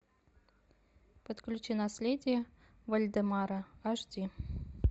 подключи наследие вальдемара аш ди